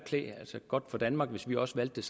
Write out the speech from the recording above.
godt for danmark hvis vi også valgte